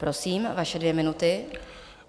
Prosím, vaše dvě minuty.